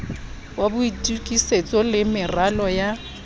wa boitokisetso le meralo ya